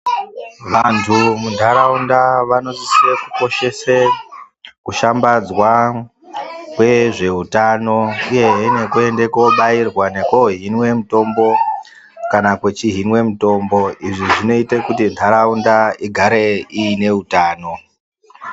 Vantu mu ndaraunda vano sisire ku koshese kushambadzwa kwe zveutano uyehe neku ende ko bairwa neko hinwe mitombo kana kwechi hinwe mitombo izvi zvinoite kuti ndaraunda igare ine utano.